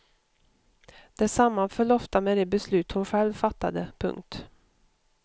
Det sammanföll ofta med de beslut hon själv fattade. punkt